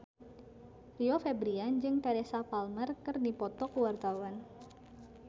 Rio Febrian jeung Teresa Palmer keur dipoto ku wartawan